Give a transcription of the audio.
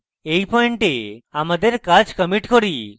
এই পয়েন্টে আমাদের কাজ commit করি